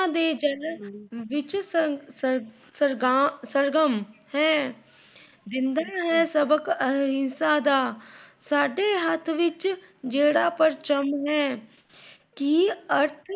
ਵਿੱਚ ਸਰ ਸਰਗਮ ਹੈ। ਜਿੰਦਾ ਏ ਸਬਕ ਅਹਿੰਸਾ ਦਾ। ਸਾਡੇ ਹੱਥ ਵਿੱਚ ਜੇੜਾ ਪਰਚਮ ਹੈ। ਕਿ